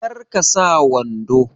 Kar ka sa wando!